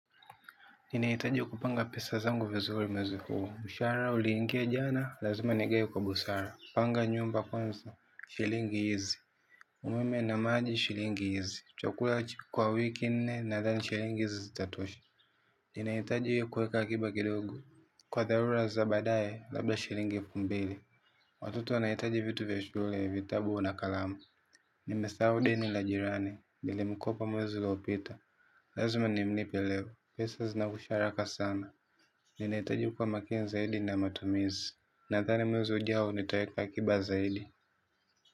Ninahitaji kupanga pesa zangu vizuri mwezi huo. Mshahara uliingia jana, lazima nigawe kwa busara. Panga nyumba kwanza, shilingi hizi. Umeme na maji shilingi hizi. Chakula kwa wiki nne, nadhani shilingi hizi zitatosha. Ninahitaji kuweka akiba kidogo. Kwa dharura za baadaye, labda shilingi elfu mbili. Watoto wanahitaji vitu vya shule, vitabu na kalamu. Nimesahau deni la jirani, nilimkopa mwezi ulopita. Lazima nimlipe leo, pesa zinakwisha haraka sana. Ninahitaji kuwa makini zaidi na matumizi. Nadhani mwezi ujao nitaeka akiba zaidi.